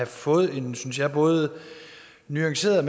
fået en synes jeg både nuanceret